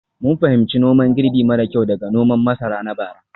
mun fahimci noman girbi mara kyau daga noman masara na bara.